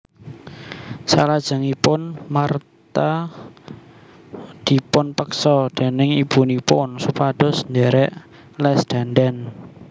Salajengipun Martha dipunpeksa déning ibunipun supados ndherek les dandan